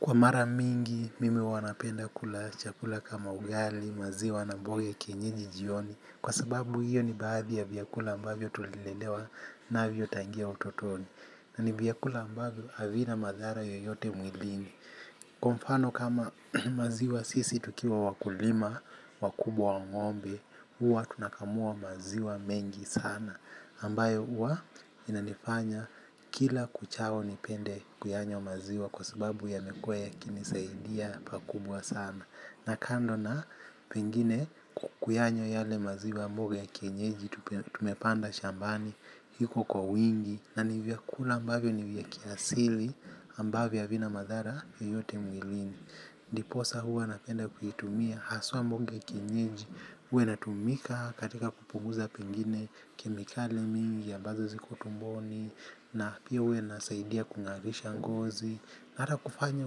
Kwa mara mingi, mimi huwa napenda kula chakula kama ugali, maziwa na mboga ya kienyeji jioni. Kwa sababu hiyo ni baadhi ya vyakula ambavyo tulilelewa navyo tangu utotoni. Na ni vyakula ambavyo havina madhara yoyote mwilini kwa mfano kama maziwa sisi tukiwa wakulima wakubwa wa ngombe huwa tunakamua maziwa mengi sana ambayo huwa inanifanya kila uchao nipende kuyanywa maziwa kwa sababu yamekuwa yakinisaidia pakubwa sana. Na kando na pengine kuyanywa yale maziwa mboga ya kienyeji tumepanda shambani iko kwa wingi. Na ni vyakula ambavyo ni vya kiasili ambavyo havina madhara yoyote mwilini. Ndiposa huwa napenda kuitumia haswa mboga ya kienyeji huwa inatumika katika kupunguza pengine kemikali mingi ambazo ziko tumboni. Na pia huwa inasaidia kungarisha ngozi. Na hata kufanya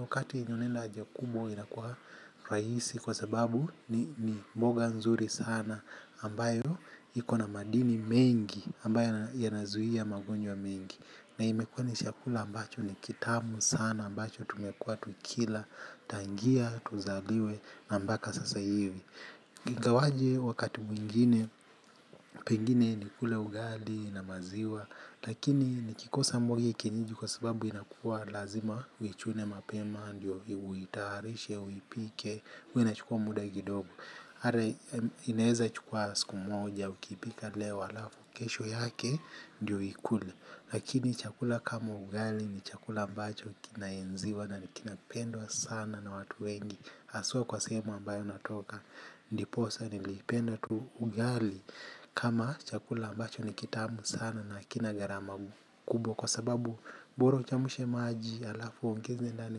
wakati yenye unaenda haja kubwa inakuwa rahisi. Kwa sababu ni mboga nzuri sana ambayo ikona madini mengi ambayo yanazuia magonjwa mengi. Na imekuwa ni chakula ambacho ni kitamu sana ambacho tumekuwa tukila. Tangia, tuzaliwe na mbaka sasa hivi ingawaje wakati mwingine. Pengine nikule ugali na maziwa. Lakini nikikosa mboga ya kienyeji kwa sababu inakuwa lazima uichune mapema ndio uitayarishe, uipike huwa ina chukua muda kidogo ata ineeza chukua siku moja, ukipika leo alafu kesho yake ndio ukule. Lakini chakula kama ugali ni chakula ambacho kinaenziwa na ni kinapendwa sana na watu wengi haswa kwa sehemu ambayo natoka ndiposa nilipenda tu ugali kama chakula ambacho nikitamu sana na hakina gharama kubwa kwa sababu bora uchemshe maji alafu uongeze ndani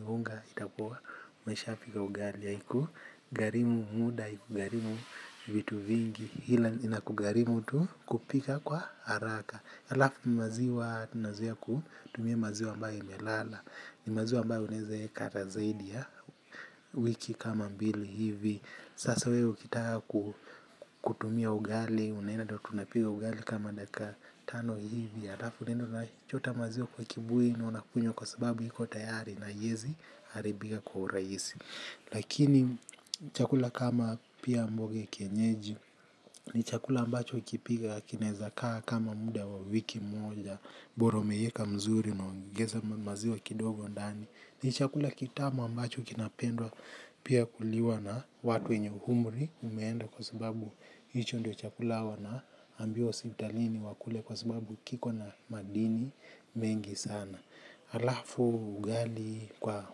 unga itakuwa umeshapika ugali haiku gharimu muda iku gharimu vitu vingi ila inakugharimu tu kupika kwa haraka alafu maziwa unaweza kutumia maziwa ambayo imelala ni maziwa unaweza kuweka zaidi ya wiki kama mbili hivi sasa wewe ukitaka kutumia ugali unaenda tu tunapiga ugali kama dakika tano hivi alafu unaenda unachota maziwa kwa kibuyu na unakunywa kwa sababu iko tayari na haiwzi kuharibika kwa urahisi lakini chakula kama pia mboga kienyeji ni chakula ambacho ikipika kinaweza kaa kama muda wa wiki moja bora umeweka mzuri na unaongeza maziwa kidogo ndani. Ni chakula kitamu ambacho kinapendwa pia kuliwa na watu wenye umri umeenda kwa sababu hicho ndo chakula wana ambiwa hospitalini wakule kwa sababu kiko na madini mengi sana. Alafu ugali kwa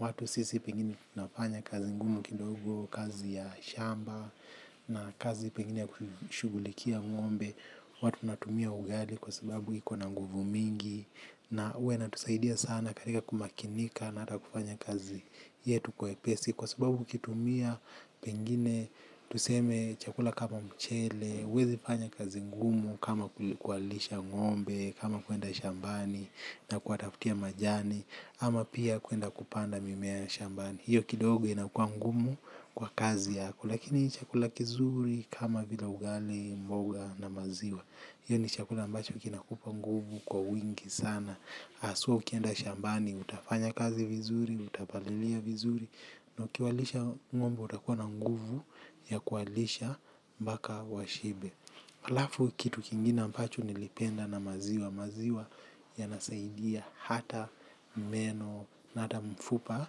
watu sisi pengine tunafanya kazi ngumu kidogo kazi ya shamba na kazi pengine ya kushughulikia ngombe, huwa tunatumia ugali kwa sababu iko na nguvu mingi. Na huwa inatusaidia sana katika kumakinika na hata kufanya kazi yetu kwa wepesi. Kwa sababu ukitumia pengine tuseme chakula kama mchele huwezi fanya kazi ngumu kama kuwalisha ngombe. Kama kuenda shambani na kuwatafutia majani. Ama pia kuenda kupanda mimea shambani. Hiyo kidogo inakua ngumu kwa kazi yako lakini ni chakula kizuri kama vila ugali mboga na maziwa. Hiyo ni chakula ambacho kinakupaa nguvu kwa wingi sana. So ukienda shambani utafanya kazi vizuri utapalilia vizuri. Na ukiwalisha ngombe utakuwa na nguvu ya kuwalisha mpaka washibe. Alafu kitu kingine ambacho nilipenda na maziwa. Maziwa yanasaidia hata meno na hata mfupa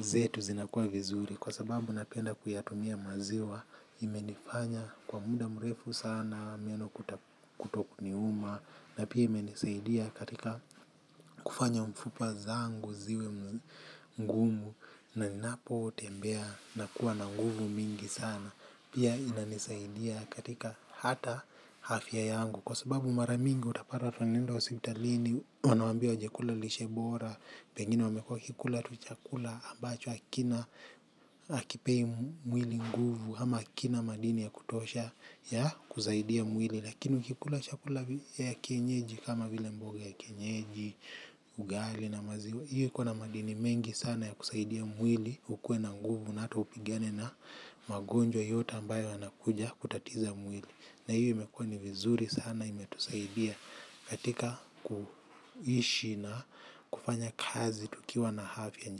zetu zinakuwa vizuri. Kwa sababu napenda kuyatumia maziwa imenifanya kwa muda mrefu sana meno kutoniuma na pia imenisaidia kufanya mfupa zangu ziwe ngumu na ninapo tembea nakuwa na nguvu mingi sana. Pia ina nisaidia katika hata afya yangu. Kwa sababu mara mingi utapata tuanenda hospitalini. Wanaambia chakula lishebora. Pengine wamekuwa wakikula tu chakula ambacho hakina hakipei mwili nguvu ama hakina madini ya kutosha ya kusaidia mwili. Lakini ukikula chakula ya kienyeji kama vile mboga ya kienyeji. Ugali na maziwa hiyo ikona madini mengi sana ya kusaidia mwili. Ukue na nguvu na hata upigane na magonjwa yote ambayo yanakuja kutatiza mwili. Na hiyo imekuwa ni vizuri sana imetusaidia katika kuishi na kufanya kazi tukiwa na afya.